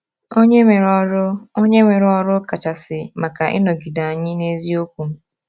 Onye nwere ọrụ Onye nwere ọrụ kachasị maka ịnọgide anyị n’eziokwu?